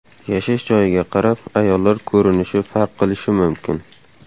Yashash joyiga qarab ayollar ko‘rinishi farq qilishi mumkin.